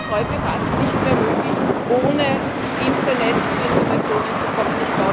Es ist heute fast nicht mehr möglich, ohne Internet zu Informationen zu kommen.